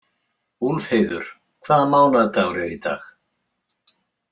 Úlfheiður, hvaða mánaðardagur er í dag?